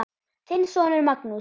Þinn sonur, Magnús.